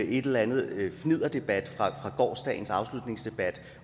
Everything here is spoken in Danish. eller anden fnidderdebat fra gårsdagens afslutningsdebat